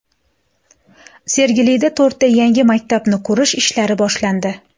Sergelida to‘rtta yangi maktabni qurish ishlari boshlandi.